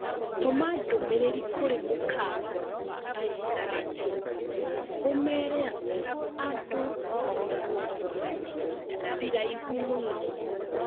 Tũma ndũmĩrĩri kũrĩ mũkawa wa aisha aden ũmeere atĩ andũ n marũgamaga ihinda ĩraihu mũno